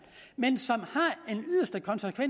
men som